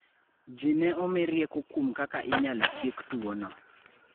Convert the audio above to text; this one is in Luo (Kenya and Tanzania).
Ji ne omi rieko kuom kaka inyalo tiek tuono.